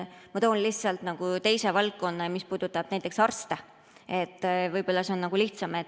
Ma toon näiteks teise valdkonna, mis puudutab arste, võib-olla see on lihtsam.